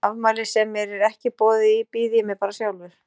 Í afmæli sem mér er ekki boðið í býð ég mér bara sjálfur.